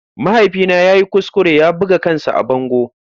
Mahaifina ya yi kuskure ya buga kansa a bango.